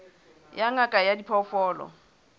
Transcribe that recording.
ya ngaka ya diphoofolo ya